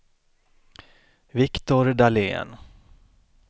Viktor Dahlén